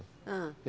Hã?